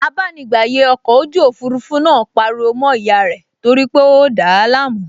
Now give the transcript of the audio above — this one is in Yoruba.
Abánigbàyè ọkọ̀ ojú òfurufú náà pariwo mọ́ ìyá rẹ̀ torípé ó dàá láàmú